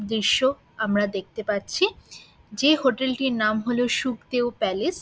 দৃশ্য আমরা দেখতে পাচ্ছি যে হোটেল -টির নাম হলো সুপ্তেয় প্যালেস ।